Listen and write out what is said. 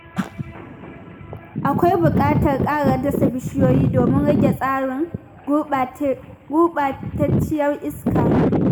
Akwai buƙatar ƙara dasa bishiyoyi domin rage tasirin gurɓatacciyar iska.